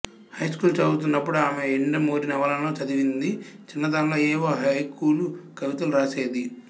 high school చదువుతున్నప్పుడు ఆమె యండమూరి నవలను చదివింది చిన్నతనంలో ఏవో హైకూలు కవితలు రాసేది